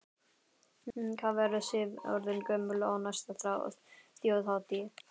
Hvað verður Sif orðin gömul á næstu Þjóðhátíð?